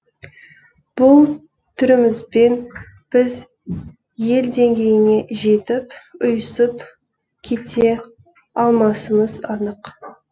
бұл түрімізбен біз ел деңгейіне жетіп ұйысып кете алмасымыз анық